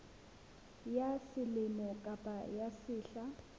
ya selemo kapa ya sehla